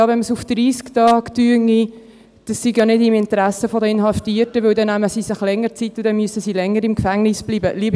Ja, wenn man es auf 30 Tage lege, sei das nicht im Interesse der Inhaftierten, weil sie sich dann länger Zeit nehmen und sie dann länger im Gefängnis bleiben müssten.